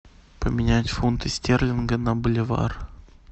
поменять фунты стерлинги на боливар